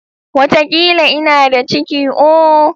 Watakila ina da ciki ooo.